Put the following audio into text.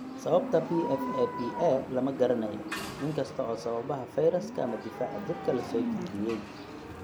Sababta PFAPA lama garanayo, in kasta oo sababaha fayraska ama difaaca jirka la soo jeediyay.